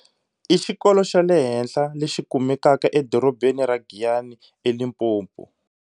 i xikolo xa le hansi lexi kumekaka edorebeni ra Giyani eLimpopo.